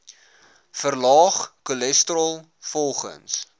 verlaag cholesterol volgens